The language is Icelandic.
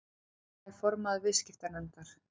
Lilja er formaður viðskiptanefndar